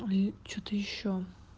ой что-то ещё